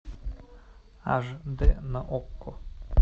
аш дэ на окко